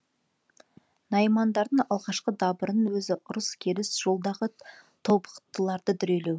наймандардың алғашқы дабырының өзі ұрыс керіс жолдағы тобықтыларды дүрелеу